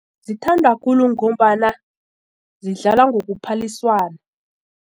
Zithanda khulu ngombana zidlala ngokuphaliswana.